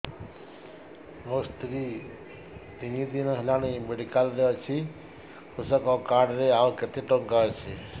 ମୋ ସ୍ତ୍ରୀ ତିନି ଦିନ ହେଲାଣି ମେଡିକାଲ ରେ ଅଛି କୃଷକ କାର୍ଡ ରେ ଆଉ କେତେ ଟଙ୍କା ଅଛି